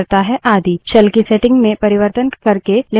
shell की settings में परिवर्तन करके लिनक्स को अधिक अनुकूलित कर सकते है